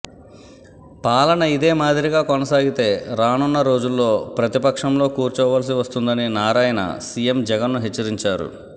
పాలన ఇదే మాదిరిగా కొనసాగితే రానున్న రోజుల్లో ప్రతిపక్షంలో కూర్చోవాల్సి వస్తుందని నారాయణ సిఎం జగన్ను హెచ్చరించారు